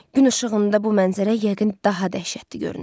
Gün işığında bu mənzərə yəqin daha dəhşətli görünür.